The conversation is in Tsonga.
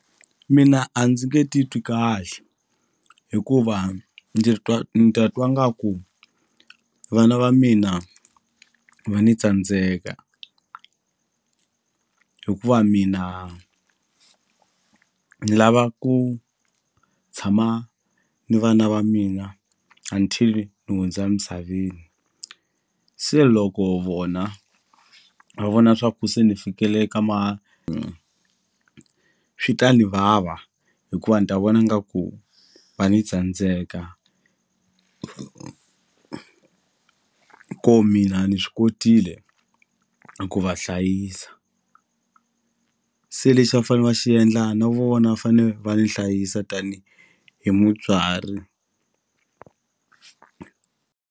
Mina a ndzi nge titwi kahle hikuva ndzi twa ni ta twa ngaku vana va mina va ni tsandzeka hikuva mina ni lava ku tshama ni vana va mina until ni hundza misaveni se loko vona va vona swa ku se ni fikele ka ma swi ta ni vava hikuva ni ta vona nga ku va ni tsandzeka ko mina ni swi kotile eku va hlayisa se lexi va fane va xiendla na vona va fane va ni hlayisa tani hi mutswari.